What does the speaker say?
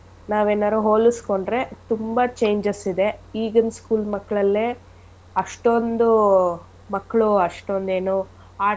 ನಾವೇನಾರು ಹೋಲಸ್ಕೊಂಡ್ರೆ ತುಂಬಾ changes ಇದೆ ಈಗಿನ್ school ಮಕ್ಕಳಲ್ಲೆ ಅಷ್ಟೊಂದು ಮಕ್ಕಳು ಅಷ್ಟೊಂದು ಏನು.